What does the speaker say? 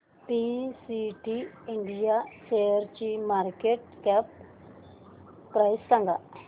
PTC India शेअरची market cap price सांगा